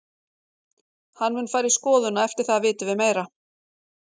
Hann mun fara í skoðun og eftir það vitum við meira.